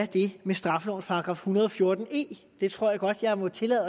det med straffelovens § en hundrede og fjorten e det tror jeg godt jeg må tillade